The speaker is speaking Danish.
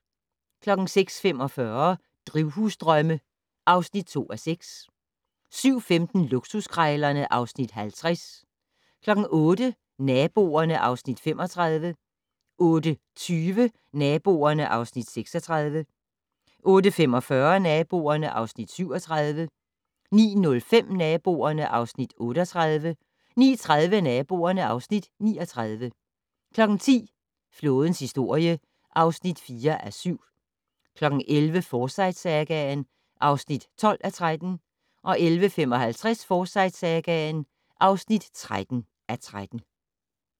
06:45: Drivhusdrømme (2:6) 07:15: Luksuskrejlerne (Afs. 50) 08:00: Naboerne (Afs. 35) 08:20: Naboerne (Afs. 36) 08:45: Naboerne (Afs. 37) 09:05: Naboerne (Afs. 38) 09:30: Naboerne (Afs. 39) 10:00: Flådens historie (4:7) 11:00: Forsyte-sagaen (12:13) 11:55: Forsyte-sagaen (13:13)